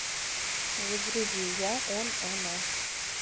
загрузи я он она